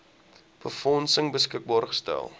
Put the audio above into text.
befondsing beskikbaar gestel